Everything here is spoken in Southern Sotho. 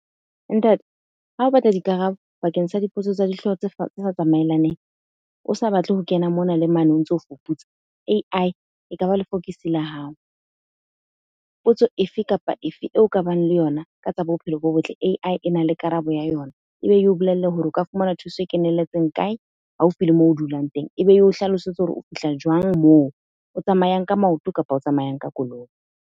Ntate, ha o batla dikarabo bakeng sa dipotso tsa dihlooho tse sa tsamaelaneng, o sa batle ho kena mona le mane o ntso fuputsa. A_I ekaba lefokisi la hao. Potso efe kapa efe eo ka bang le yona ka tsa bophelo bo botle, A_I ena le karabo ya yona. E be yeo bolelle hore o ka fumana thuso e kenelletseng kae? haufi le moo o dulang teng. E be yeo hlalosetse hore o fihla jwang moo, o tsamayang ka maoto kapa o tsamayang ka koloi.